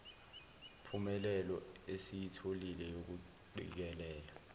mpumelelo esiyitholile yokuqikelela